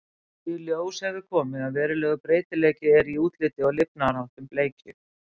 Í ljós hefur komið að verulegur breytileiki er í útliti og lifnaðarháttum bleikju.